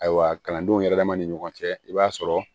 Ayiwa kalandenw yɛrɛ dama ni ɲɔgɔn cɛ i b'a sɔrɔ